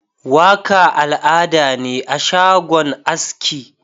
Waka al'ada ne a shagon aski.